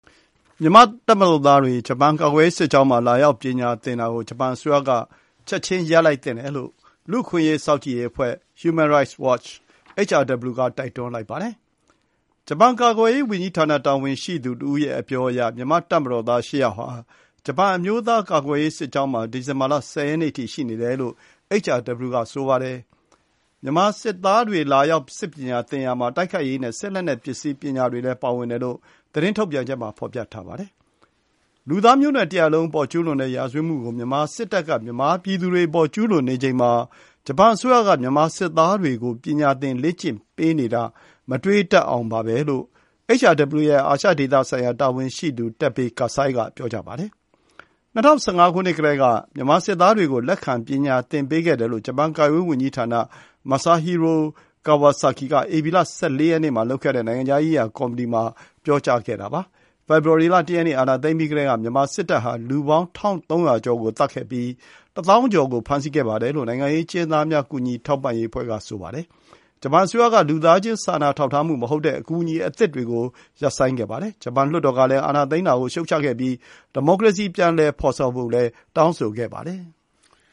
မြန်မာ့တပ်မတော်သားတွေ ဂျပန် ကာကွယ်ရေးစစ်ကျောင်းမှာ လာရောက် ပညာသင်တာကို ဂျပန်အစိုးရအနေနဲ့ ချက်ချင်း ရပ်လိုက်သင့်တယ်လို့ လူ့အခွင့်အရေး စောင့်ကြည့်ရေး အဖွဲ့ Human Rights Watch (HRW) က တိုက်တွန်းလိုက်ပါတယ်။ ကာကွယ်ရေးဝန်ကြီးဌာန တာဝန်ရှိသူတဦးရဲ့ အပြောအရ မြန်မာ့ တပ်မတော်သား ၈ ယောက်ဟာ ဂျပန် အမျိုးသားကာကွယ်ရေး စစ်ကျောင်းမှာ ဒီဇင်ဘာလ ၁၀ ရက်နေ့အထိ ရှိနေတယ်လို့ HRW က ဆိုပါတယ်။ မြန်မာစစ်သားတွေ လာရောက် စစ်ပညာသင်ရာမှာ တိုက်ခိုက်ရေးနဲ့ စစ်လက်နက်ပစ္စည်းပညာတွေလည်း ပါဝင်တယ်လို့ HRW သတင်းထုတ်ပြန်ချက်မှာ ဖော်ပြထားပါတယ်။ လူသားမျိုးနွယ်တရပ် လုံးအပေါ် ကျူးလွန်တဲ့ ရာဇဝတ်မှုတွေ မြန်မာစစ်တပ်က ကျူးလွန်နေချိန်မှာ ဂျပန်အစိုးရက မြန်မာစစ်သားတွေကို ပညာသင် လေ့ကျင့်ပေးနေတာ မတွေးတတ်အောင်ပါပဲလို့ HRW ရဲ့ အာရှဒေသဆိုင်ရာ တာဝန်ရှိသူ Teppei Kasai က ပြောပါတယ်။ ၂၀၁၅ ကတည်းက မြန်မာစစ်သားတွေကို လက်ခံ ပညာသင်ပေးခဲ့တယ်လို့ ဂျပန် ကာကွယ်ရေးဝန်ကြီးဌာန Masahiro Kawasaki က ဧပြီလ ၁၄ ရက်နေ့မှာ လုပ်ခဲ့တဲ့ နိုင်ငံခြားရေးရာ ကော်မီတီမှာ ပြောကြားခဲ့ပါတယ်။ဖေဖော်ဝါရီ လ ၁ ရက်နေ့ အာဏာသိမ်းပြီးကတည်းက မြန်မာစစ်တပ်ဟာ လူပေါင်း ၁,၃၀၀ ကျော်ကို သတ်ခဲ့ပြီး ၁၀,၀၀၀ ကျော် ကို ဖမ်းဆီးခဲ့တယ်လို့ လူ့အခွင့်အရေးအဖွဲ့တွေက ပြောဆိုနေတာပါ။ မြန်မာနိုင်ငံမှာ စစ်အာဏာသိမ်းပြီးတဲ့နောက် မြန်မာနိုင်ငံကိုပေးနေတဲ့ လူသားချင်းစာနာထောက်ထားမှု မဟုတ်တဲ့ အကူအညီအသစ်တွေကို ဂျပန်ကရပ်ဆိုင်းခဲ့ပြီး ဂျပန်လွှတ်တော်ကလည်း အာဏာသိမ်းတာကို ရှုတ်ချခဲ့ပါတယ်။မြန်မာနိုင်ငံမှာ ဒီမိုကရေစီ ပြန်လည်ဖော်ဆောင်ဖို့လည်း တောင်းဆိုခဲ့ပါတယ်။